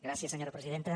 gràcies senyora presidenta